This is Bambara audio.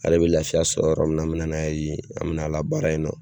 Ale bɛ laafiya sɔrɔ yɔrɔ min na an mina n'a ye yen an mɛna a labaara ye.